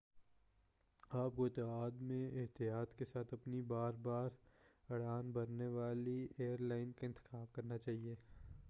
آپ کو اتحاد میں احتیاط کے ساتھ اپنی بار بار اڑان بھرنے والی ایر لائن کا انتخاب کرنا چاہیے